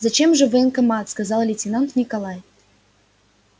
зачем же в военкомат сказал лейтенант николай